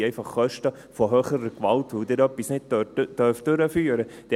Es sind einfach Kosten aufgrund höherer Gewalt, weil Sie etwas nicht durchführen dürfen.